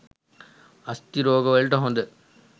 අස්ථි රෝග වලට හොඳ